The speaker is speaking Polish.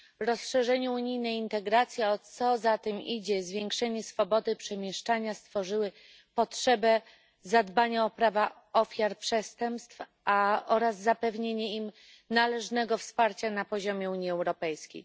Rozszerzenie unijnej integracji, a co za tym idzie, zwiększenie swobody przemieszczania, stworzyły potrzebę zadbania o prawa ofiar przestępstw oraz zapewnienia im należnego wsparcia na poziomie Unii Europejskiej.